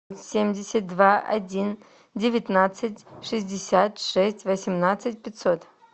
семьдесят два один девятнадцать шестьдесят шесть восемнадцать пятьсот